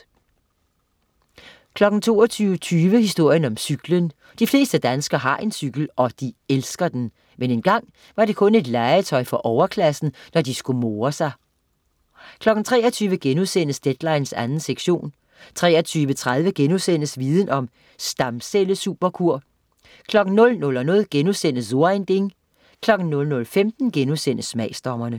22.20 Historien om cyklen. De fleste danskere har en cykel, og de elsker den. Men engang var det kun et legetøj for overklassen, når de skulle more sig 23.00 Deadline 2. sektion* 23.30 Viden om: Stamcellesuperkur* 00.00 So ein Ding* 00.15 Smagsdommerne*